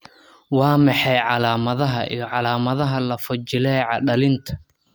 Waa maxay calaamadaha iyo calaamadaha lafo-jileeca dhallinta?